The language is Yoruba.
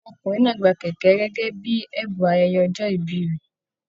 Ọmọkùnrin náà gbà kẹkẹ gẹgẹ bíi ẹbùn ayẹyẹ ọjọ ìbí rẹ.